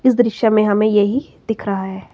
इस दृश्य में हमें यही दिख रहा है।